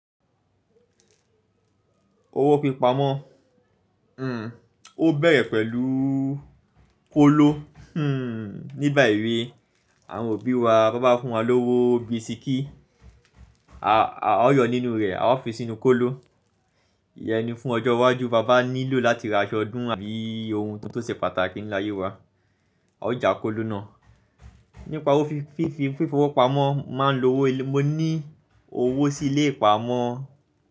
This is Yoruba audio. Owó pípa mọ, o bẹ̀rẹ̀ pẹ̀lú kóló. Nígbà èwe àwọn òbí wa, bọn ba fún wa lówó bisikí, a ó yọ nínú rẹ̀, a ó fi sínú kóló. Íyẹn ni fún ọjọ́ iwájú, bàbá nílò láti ra aṣọ ọdún àbí ohun tó ṣe pàtàkì ní láyé wa, a ó ja kóló náà. Nípa fífowó pamọ́, máa ń lo owó, mo ní owó sí ilé ìpamọ́